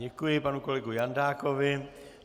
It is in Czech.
Děkuji panu kolegovi Jandákovi.